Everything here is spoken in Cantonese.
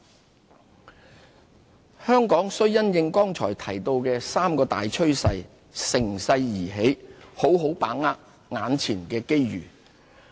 把握機遇香港須因應剛才提到的三大趨勢，乘勢而起，好好把握眼前的機遇。